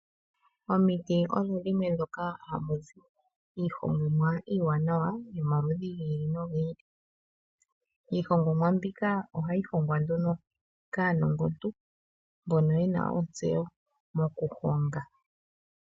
Omiti odho dhimwe ndhoka haku zi iihongomwa iiwanawa yomaludhi gi ili nogi ili. Iihongomwa mbika ohayi hongwa nduno kaanongontu mboko yena ontseyo mokuhonga.